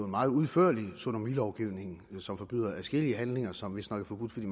meget udførlig sodomilovgivning som forbyder adskillige handlinger som vistnok er forbudt fordi